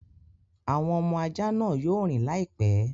Àwọn ọmọ ajá náà yóò rìn láìpẹ́.